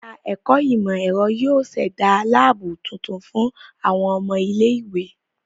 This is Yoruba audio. Ẹ̀ka ẹ̀kọ ìmọ̀-ẹ̀rọ yóó ṣẹ̀da láàbù tuntun fún àwọn ọmọ ilé-ìwé.